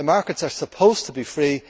The markets are supposed to be free